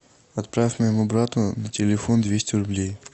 отправь моему брату на телефон двести рублей